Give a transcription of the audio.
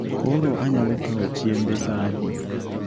Koro anyalo kawo chiembe saa adi